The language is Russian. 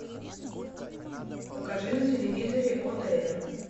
покажи на телевизоре отр